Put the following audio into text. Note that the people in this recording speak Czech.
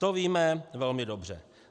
To víme velmi dobře.